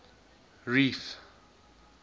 reef